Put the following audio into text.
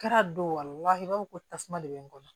Kɛra don wa i b'a fɔ ko tasuma de bɛ n kɔnɔ